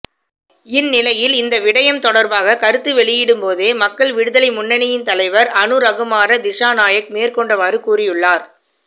இந்நிலையில் இந்த விடயம் தொடர்பாக கருத்து வெளியிடும்போதே மக்கள் விடுதலை முன்னணியின் தலைவர் அநுரகுமார திஸாநாயக்க மேற்கண்டவாறு கூறியுள்ளார்